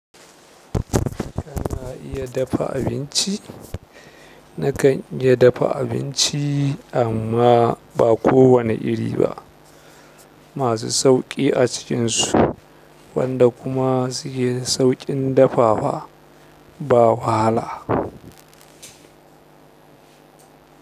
Kana, iya dafa abinci? Nakan iya dafa abinci amma ba kowane iri ba. Masu sauƙi a cikinsu, wanda kuma suke sauƙin dafawa, ba wahala.